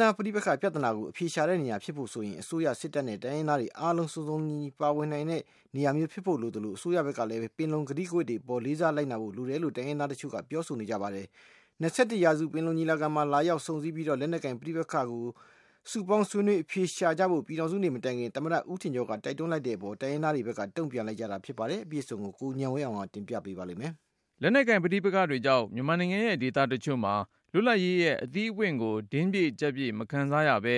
သားပဋိပက္ခပြဿနာကို အဖြေရှာတဲ့နေရာ ဖြစ်ဖို့ဆိုရင် အစိုးရ၊ စစ်တပ်နဲ့ တိုင်းရင်းသားတွေ အားလုံး စုံစုံလင်လင် ပါဝင်နိုင်ခွင့် ရတဲ့နေရာမျိုးဖြစ်ဖို့ လိုသလို၊ အစိုးရဘက်ကလည်း ပင်လုံကတိကဝတ်တွေအပေါ် လေးစားလိုက်နာဖို့ လိုတယ်လို့ တိုင်းရင်းသားတချို့က ပြောဆိုလိုက်ကြပါတယ်။ ၂၁ ရာစု ပင်လုံညီလာခံမှာ လာရောက် ဆုံဆည်းပြီး လက်နက်ကိုင် ပဋိပက္ခတွေကို စုပေါင်း ဆွေးနွေး အဖြေရှာကြဖို့ ပြည်ထောင်စုနေ့ မတိုင်ခင် သမ္မတ ဦးထင်ကျော်က တိုက်တွန်းလိုက်တဲ့အပေါ် တိုင်းရင်းသားတွေဘက်က တုံ့ပြန် လိုက်ကြတာ ဖြစ်ပါတယ်။ အပြည့်အစုံကို ကိုဉာဏ်ဝင်းအောင်က တင်ပြထားပါတယ်။ လက်နက်ကိုင်ပဋိပက္ခတွေကြောင့် မြန်မာနိုင်ငံရဲ့ ဒေသတချို့မှာ လွတ်လပ်ရေးရဲ့ အသီးအပွင့်ကို တင်းပြည့်ကျပ်ပြည့် မခံစားရဘဲ